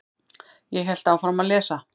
Ég hélt áfram að lesa.